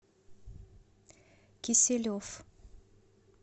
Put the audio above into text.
киселев